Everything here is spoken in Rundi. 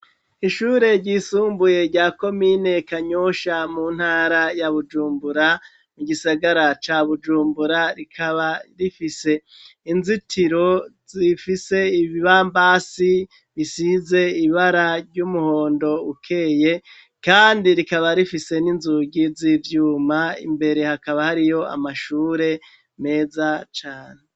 Ishure ryisumbuye rya komine Kanyosha mu ntara ya Bujumbura, igisagara ca Bujumbura rikaba rifise inzitiro zifise ibibambasi bisize ibara ry'umuhondo ukeye, kandi rikaba rifise n'inzugi z'ivyuma imbere hakaba hariyo amashure meza cane.